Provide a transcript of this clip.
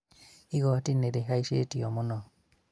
igoti nĩrĩhaicĩtio mũno